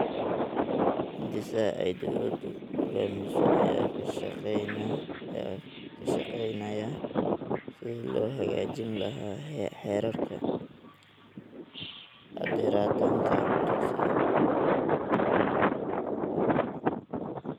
Hindisaha ay dowladdu hoggaamiso ayaa ka shaqeynaya sidii loo hagaajin lahaa heerarka xaadiritaanka dugsiga.